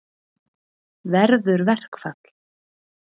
Verður verkfall?